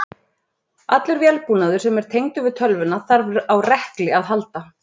Allur vélbúnaður sem er tengdur við tölvuna þarf á rekli að halda.